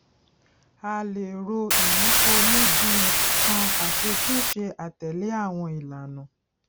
a lè ro ìyípo ní bíi nǹkan aṣetúnṣe àtèlè awon ìlànà